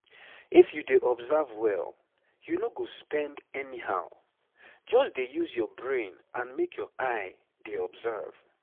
if you dey observe well you no go spend anyhow. just dey use your brain and make your eye dey observe